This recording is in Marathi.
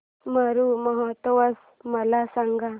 मरु महोत्सव मला सांग